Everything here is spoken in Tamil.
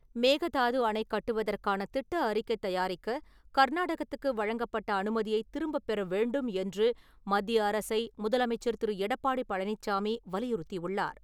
மேகதாது அணை கட்டுவதற்கான திட்ட அறிக்கை தயாரிக்க கர்நாடகத்துக்கு வழங்கப்பட்ட அனுமதியை திரும்பப்பெற வேண்டும் என்று மத்திய அரசை, முதலமைச்சர் திரு. எடப்பாடி பழனிச்சாமி வலியுறுத்தியுள்ளார்.